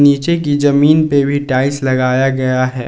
नीचे की जमीन पे भी टाइल्स लगाया गया है।